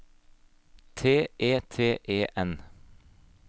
T E T E N